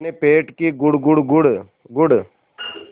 अपने पेट की गुड़गुड़ गुड़गुड़